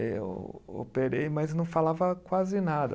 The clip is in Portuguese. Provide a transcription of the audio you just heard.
Eu operei, mas não falava quase nada.